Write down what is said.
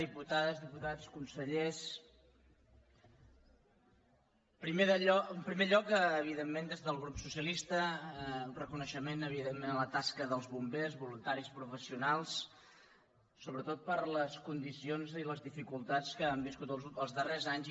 diputades diputats consellers en primer lloc evidentment des del grup socialista un reconeixement a la tasca dels bombers voluntaris professionals sobretot per les condicions i les dificultats que han viscut els darrers anys